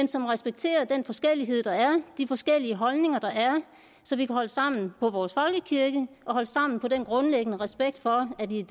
som respekterer den forskellighed der er de forskellige holdninger der er så vi kan holde sammen på vores folkekirke og holde sammen på den grundlæggende respekt for at det er